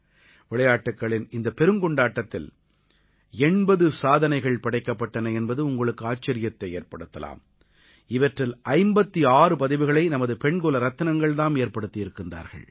விளையாட்டுக்களின் இந்த பெருங்கொண்டாட்டத்தில் 80 சாதனைகள் படைக்கப்பட்டன என்பது உங்களுக்கு ஆச்சரியத்தை ஏற்படுத்தலாம் இவற்றில் 56 பதிவுகளை நமது பெண்குல ரத்தினங்கள் தாம் ஏற்படுத்தியிருக்கிறார்கள்